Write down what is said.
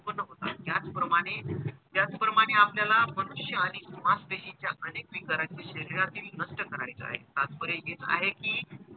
उत्त्पन्न होतात याचप्रमाणे त्याचप्रमाणे याचप्रमाणे त्याचप्रमाणेआपल्याला मनुष्य आणि मासपेशींच्या अनेक विकारांचं शरीरातील नष्ट करायचं आहे. तात्पर्य हेच आहे की,